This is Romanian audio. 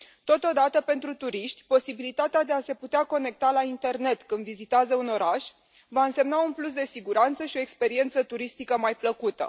Totodată, pentru turiști, posibilitatea de a se putea conecta la internet când vizitează un oraș va însemna un plus de siguranță și o experiență turistică mai plăcută.